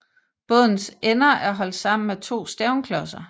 Bådens ender er holdt sammen af to stævnklodser